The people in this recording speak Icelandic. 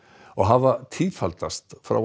og hafa tífaldast frá